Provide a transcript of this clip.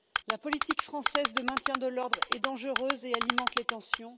La politique française de maintien de l'ordre est dangereuse et alimente les tensions.